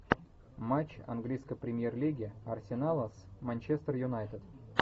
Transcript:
матч английской премьер лиги арсенала с манчестер юнайтед